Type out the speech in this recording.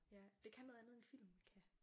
Ja det kan noget andet end film kan